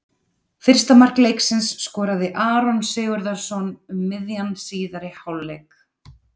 Fyrsta mark leiksins skoraði Aron Sigurðarson um miðjan síðari hálfleik.